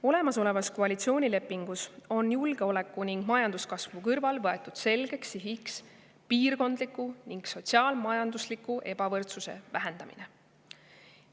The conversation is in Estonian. Olemasolevas koalitsioonilepingus on julgeoleku ning majanduskasvu kõrval võetud selgeks sihiks piirkondliku ning sotsiaal-majandusliku ebavõrdsuse vähendamine.